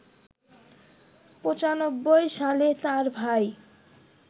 ৯৫ সালে তাঁর ভাই